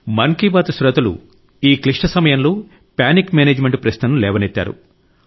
మన్ కీ బాత్ శ్రోతలు ఈ క్లిష్ట సమయంలో పానిక్ మేనేజ్మెంట్ ప్రశ్నను లేవనెత్తారు